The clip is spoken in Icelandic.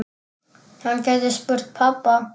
Hann gæti spurt pabba.